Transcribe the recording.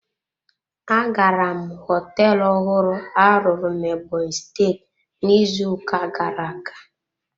Agara m hoteelu ọhụrụ a rụrụ na Ebonyi steeti n'izu ụka gara-aga.